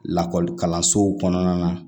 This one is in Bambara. Lakɔlikalansow kɔnɔna na